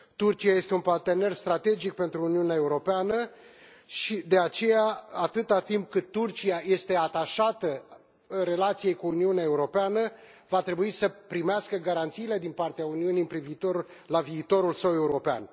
Turcia este un partener strategic pentru Uniunea Europeană, și, de aceea, atâta timp cât Turcia este atașată relației cu Uniunea Europeană, va trebui să primească garanțiile din partea Uniunii cu privire la viitorul său european.